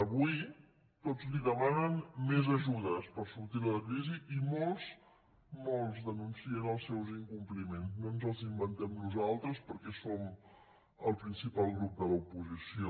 avui tots li demanen més ajudes per sortir de la crisi i molts molts denuncien els seus incompliments no ens els inventem nosaltres perquè som el principal grup de l’oposició